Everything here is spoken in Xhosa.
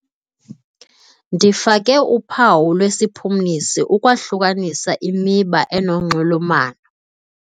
Ndifake uphawu lwesiphumlisi ukwahlukanisa imiba enonxulumano.